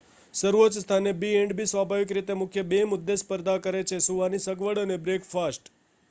સર્વોચ્ચ સ્થાને b&b સ્વાભાવિક રીતે મુખ્ય બે મુદ્દે સ્પર્ધા કરે છે સૂવાની સગવડ અને બ્રેકફાસ્ટ